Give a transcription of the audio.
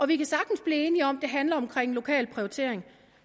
vi kan sagtens blive enige om at det handler om lokal prioritering